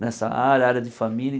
nessa área, área de família.